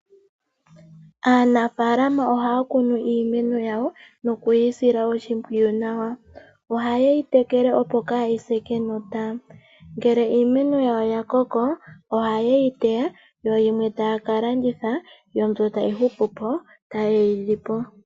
Aanafalama ohaya kunu iimeno yawo noku yi sila oshimpwiyu nawa, ohaye yi tekele opo kayi se kenota. Ngele iimeno yawo ya koko, ohaye yi teya yo yimwe taya ka landitha. Yo mbi tayi hupu po taye yi li po.